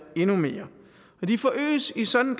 endnu mere de forøges i sådan